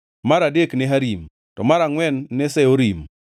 mar adek ne Harim, to mar angʼwen ne Seorim,